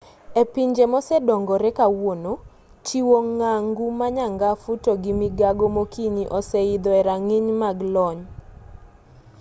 e pinje mosedongore kawuono chiwo ng'angu ma nyangafu to gi migago mokinyi oseidho e rang'iny mag lony